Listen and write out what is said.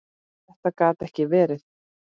Þetta gat ekki verið!